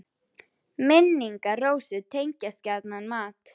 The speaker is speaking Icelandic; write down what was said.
Minn- ingar Rósu tengjast gjarnan mat.